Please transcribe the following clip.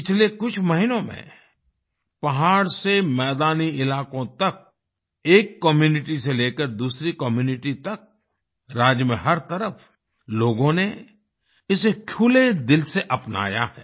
पिछले कुछ महीनों में पहाड़ से मैदानी इलाकों तक एक कम्यूनिटी से लेकर दूसरी कम्यूनिटी तक राज्य में हर तरफ लोगों ने इसे खुले दिल से अपनाया है